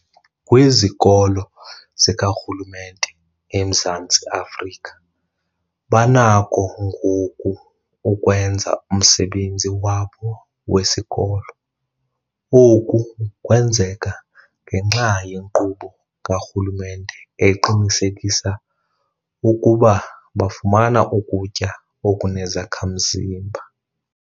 Kwizikolo zikarhulumente eMzantsi Afrika banakho ngoku ukwenza umsebenzi wabo wesikolo. Oku kwenzeka ngenxa yenkqubo karhulumente eqinisekisa ukuba bafumana ukutya okunezakha-mzimba.